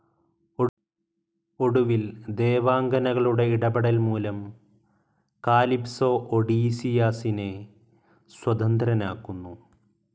ഒടുവിൽ ദേവാംഗനകളുടെ ഇടപെടൽ മൂലം കാലിപ്സോ ഒഡീസിയാസിനെ സ്വതന്ത്രനാക്കുന്നു.